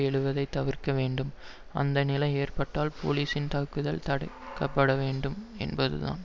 எழுவதைத் தவிர்க்க வேண்டும் அந்த நிலை ஏற்பட்டால் போலீஸின் தாக்குதல் தடுக்க பட வேண்டும் என்பதுதான்